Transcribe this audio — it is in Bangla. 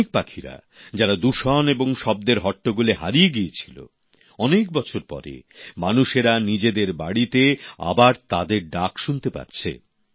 অনেক পাখিরা যারা দূষণ এবং শব্দের হট্টগোলে হারিয়ে গিয়েছিল অনেক বছর পরে মানুষেরা নিজেদের বাড়িতে আবার তাদের ডাক শুনতে পাচ্ছে